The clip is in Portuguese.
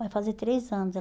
Vai fazer três anos.